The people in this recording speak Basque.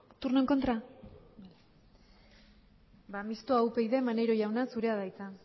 turno en contra mistoa upyd maneiro jauna zurea da hitza